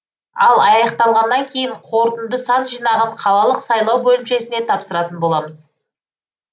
ал аяқталғаннан кейін қорытынды сан жинағын қалалық сайлау бөлімшесіне тапсыратын боламыз